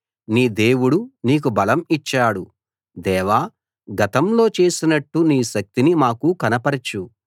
నీ దేవుడు నీకు బలం ఇచ్చాడు దేవా గతంలో చేసినట్టు నీ శక్తిని మాకు కనపరచు